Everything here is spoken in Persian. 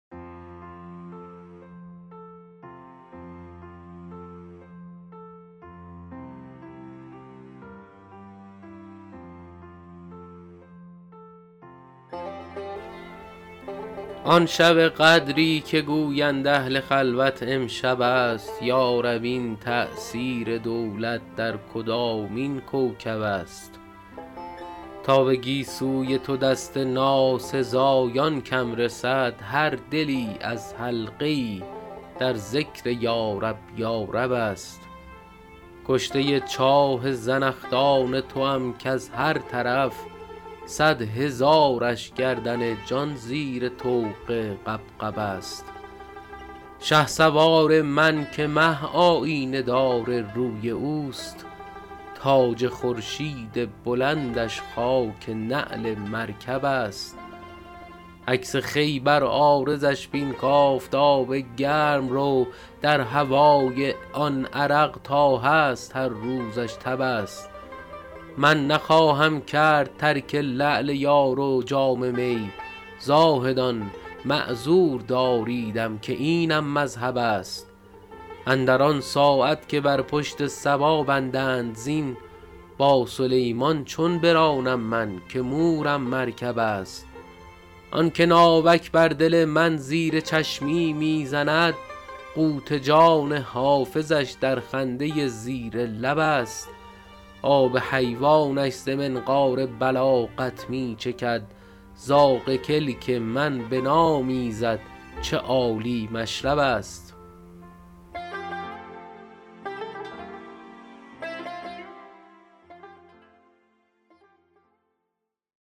آن شب قدری که گویند اهل خلوت امشب است یا رب این تأثیر دولت در کدامین کوکب است تا به گیسوی تو دست ناسزایان کم رسد هر دلی از حلقه ای در ذکر یارب یارب است کشته چاه زنخدان توام کز هر طرف صد هزارش گردن جان زیر طوق غبغب است شهسوار من که مه آیینه دار روی اوست تاج خورشید بلندش خاک نعل مرکب است عکس خوی بر عارضش بین کآفتاب گرم رو در هوای آن عرق تا هست هر روزش تب است من نخواهم کرد ترک لعل یار و جام می زاهدان معذور داریدم که اینم مذهب است اندر آن ساعت که بر پشت صبا بندند زین با سلیمان چون برانم من که مورم مرکب است آن که ناوک بر دل من زیر چشمی می زند قوت جان حافظش در خنده زیر لب است آب حیوانش ز منقار بلاغت می چکد زاغ کلک من بنامیزد چه عالی مشرب است